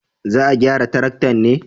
Za a gyara taraktan ne?